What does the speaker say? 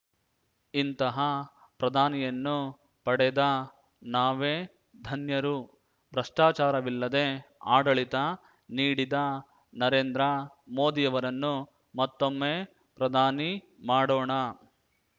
ಇಂತಹ ಪ್ರಧಾನಿಯನ್ನು ಪಡೆದ ನಾವೇ ಧನ್ಯರು ಭ್ರಷ್ಟಾಚಾರವಿಲ್ಲದೇ ಆಡಳಿತ ನೀಡಿದ ನರೇಂದ್ರ ಮೋದಿಯವರನ್ನು ಮತ್ತೊಮ್ಮೆ ಪ್ರಧಾನಿ ಮಾಡೋಣ